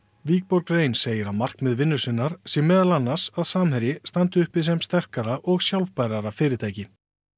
wikborg rein segir að markmið vinnu sinnar sé meðal annars að Samherji standi uppi sem sterkara og sjálfbærara fyrirtæki